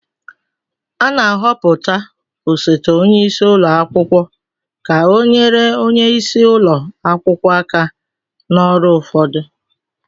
A na-ahọpụta osote onye isi ụlọ akwụkwọ ka ọ nyere onye isi ụlọ akwụkwọ aka na ọrụ ụfọdụ